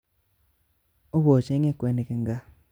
Obochenge kwenik eng gaa